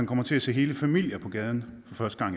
kommer til at se hele familier på gaden